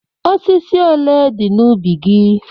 Osisi ole dị n'ubi gị?